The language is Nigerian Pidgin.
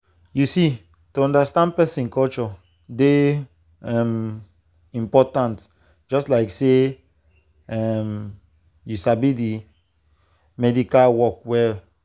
you see to understand person culture dey um important just like say um you sabi the medical work well.